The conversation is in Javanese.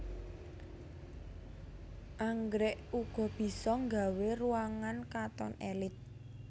Anggrèk uga bisa nggawé ruangan katon èlit